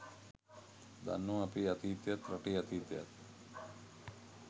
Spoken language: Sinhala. දන්නව අපේ අතීතයත් රටේ අතීතයත්.